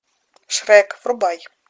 шрек врубай